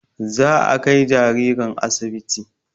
Za a kai jaririn asibiti